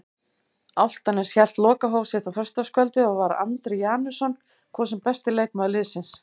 Álftanes hélt lokahóf sitt á föstudagskvöldið og var Andri Janusson kosinn besti leikmaður liðsins.